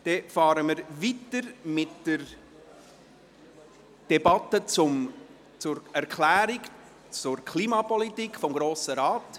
Wir fahren weiter mit der Debatte über die Erklärung zur Klimapolitik des Grossen Rates.